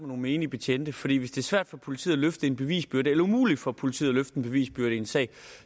nogle menige betjente fordi hvis det er svært for politiet at løfte en bevisbyrde eller umuligt for politiet at løfte en bevisbyrde i en sag